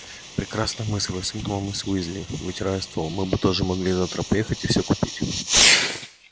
прекрасная мысль воскликнула миссис уизли вытирая стол мы бы тоже могли завтра поехать и все купить